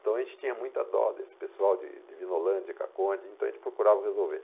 Então a gente tinha muita dó desse pessoal de Vinolândia, de Caconde, então a gente procurava resolver.